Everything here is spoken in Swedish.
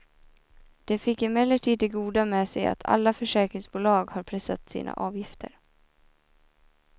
Det fick emellertid det goda med sig att alla försäkringsbolag har pressat sina avgifter.